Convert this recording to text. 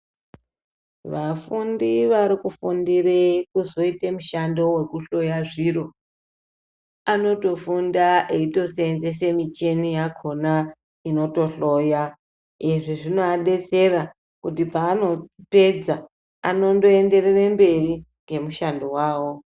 Vafundi varikufundire kuzoite mishando wekuhloya zviro, anotofunda eitoseenzese micheni yachona inotohloya. Izvi zvinoadetsera kuti paanopedza anondoenderere mberi ngemishando wawo.